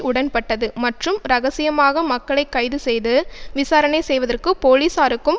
உடன்பட்டது மற்றும் இரகசியமாக மக்களை கைது செய்து விசாரணை செய்வதற்கு போலீசாருக்கும்